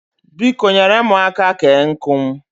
Biko, nyere mụ aka kee nkụ m